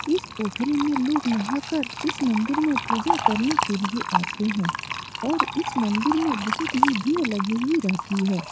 इस पोखरे में लोग नहाकर इस मंदिर में पूजा करने के लिए आते हैं और इस मंदिर में बोहोत ही भीड़ लगी हुई रहती है।